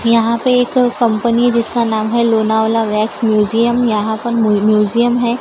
यहां पे एक कंपनी जिसका नाम है लोनावला वैक्स म्यूजियम यहां पर म्यूजियम है।